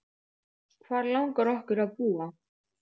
Hvar langar okkur að búa?